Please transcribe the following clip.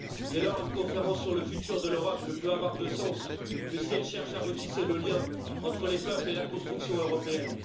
Dès lors, une conférence sur le futur de l'Europe ne peut avoir de sens que si elle cherche à retisser le lien entre les peuples et la construction européenne.